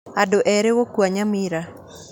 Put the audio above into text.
Andu eerĩ gũkua Nyamira